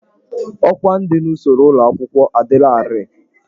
Ọkwá ndị n'usoro ụlọ akwụkwọ adịlarị.